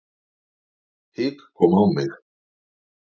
Hik kom á mig.